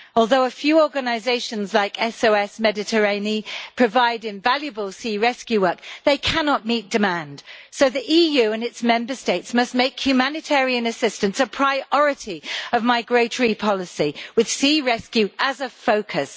Although a few organisations like SOS Méditerranée provide invaluable sea rescue work they cannot meet demand, so the EU and its Member States must make humanitarian assistance a priority of migratory policy, with sea rescue as a focus.